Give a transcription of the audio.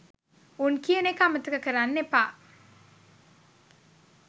උන් කියන එක අමතක කරන්න එපා